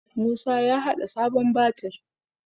Musa ya haɗa sabon batir